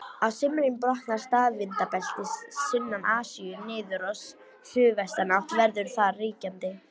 Á sumrin brotnar staðvindabeltið sunnan Asíu niður og suðvestanátt verður þar ríkjandi.